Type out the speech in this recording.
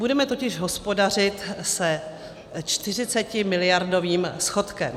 Budeme totiž hospodařit se 40miliardovým schodkem.